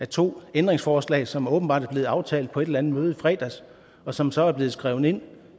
to ændringsforslag som åbenbart er blevet aftalt på et eller andet møde i fredags og som så er blevet skrevet ind